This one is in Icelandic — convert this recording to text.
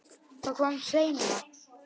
Það kom seinna.